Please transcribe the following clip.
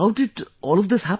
How did all of this happen